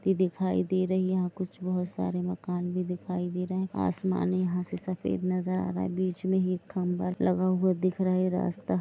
इ दिखाई दे रही है यहां कुछ बहुत सारे मकान भी दिखाई दे रहे है आसमान यहां से सफेद नजर आ रहा है बीच में ही एक खंभा लगा हुआ दिख रहा है यह रास्ता--